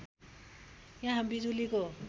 यहाँ बिजुलीको